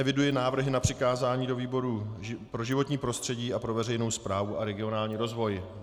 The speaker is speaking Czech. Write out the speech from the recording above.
Eviduji návrhy na přikázání do výboru pro životní prostředí a pro veřejnou správu a regionální rozvoj.